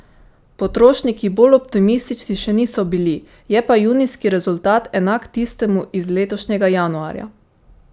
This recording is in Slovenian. Potrošniki bolj optimistični še niso bili, je pa junijski rezultat enak tistemu iz letošnjega januarja.